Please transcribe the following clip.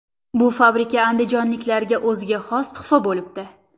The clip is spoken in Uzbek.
Bu fabrika andijonliklarga o‘ziga xos tuhfa bo‘libdi.